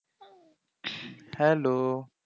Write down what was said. hello